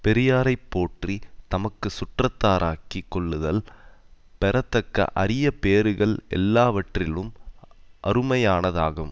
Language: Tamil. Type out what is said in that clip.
பெரியாரை போற்றி தமக்கு சுற்றத்தாராக்கிக் கொள்ளுதல் பெறத்தக்க அரிய பேறுகள் எல்லாவற்றிலும் அருமையானதாகும்